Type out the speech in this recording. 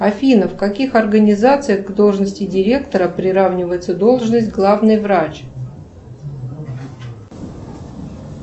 афина в каких организациях к должности директора приравнивается должность главный врач